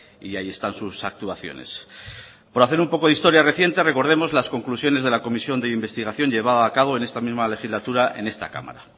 y ahí están sus actuaciones por hacer un poco de historia reciente recordemos las conclusiones de la comisión de investigación llevada a cabo en esta misma legislatura en esta cámara